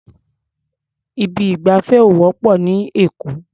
Ibi ìgbafẹ́ ò wọ́pọ̀ ní Èkó.